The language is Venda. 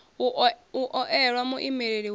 u o elwa muimeleli wa